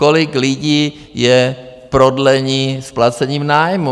Kolik lidí je v prodlení s placením nájmu?